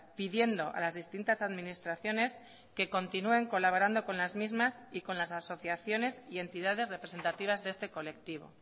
pidiendo a las distintas administraciones que continúen colaborando con las mismas y con las asociaciones y entidades representativas de este colectivo